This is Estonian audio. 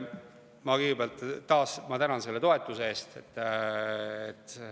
Ma kõigepealt taas tänan selle toetuse eest.